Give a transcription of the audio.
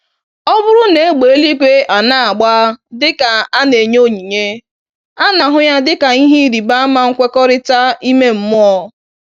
Ọbụrụ na égbè eluigwe anagba dịka a na-enye ònyìnyé, ana-ahụ yá dịka ìhè ịrịba ama nkwekọrịta ime mmụọ.